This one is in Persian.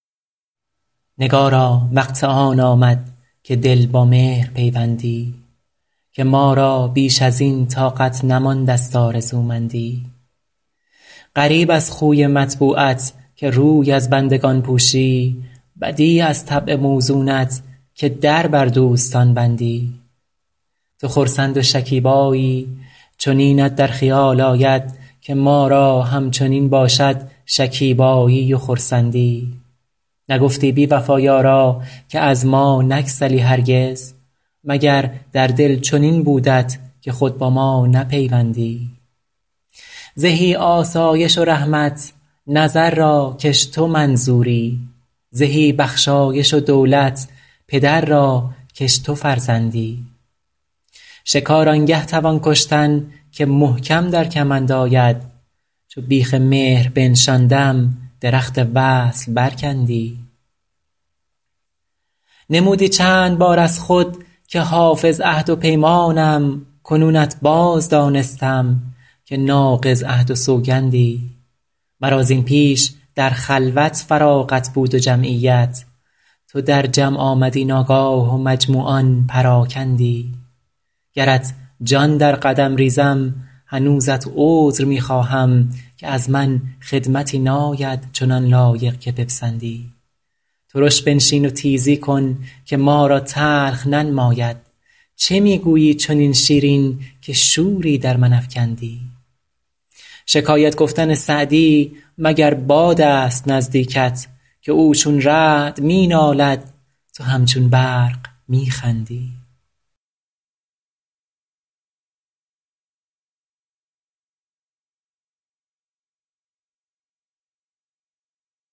نگارا وقت آن آمد که دل با مهر پیوندی که ما را بیش از این طاقت نمانده ست آرزومندی غریب از خوی مطبوعت که روی از بندگان پوشی بدیع از طبع موزونت که در بر دوستان بندی تو خرسند و شکیبایی چنینت در خیال آید که ما را همچنین باشد شکیبایی و خرسندی نگفتی بی وفا یارا که از ما نگسلی هرگز مگر در دل چنین بودت که خود با ما نپیوندی زهی آسایش و رحمت نظر را کش تو منظوری زهی بخشایش و دولت پدر را کش تو فرزندی شکار آن گه توان کشتن که محکم در کمند آید چو بیخ مهر بنشاندم درخت وصل برکندی نمودی چند بار از خود که حافظ عهد و پیمانم کنونت باز دانستم که ناقض عهد و سوگندی مرا زین پیش در خلوت فراغت بود و جمعیت تو در جمع آمدی ناگاه و مجموعان پراکندی گرت جان در قدم ریزم هنوزت عذر می خواهم که از من خدمتی ناید چنان لایق که بپسندی ترش بنشین و تیزی کن که ما را تلخ ننماید چه می گویی چنین شیرین که شوری در من افکندی شکایت گفتن سعدی مگر باد است نزدیکت که او چون رعد می نالد تو همچون برق می خندی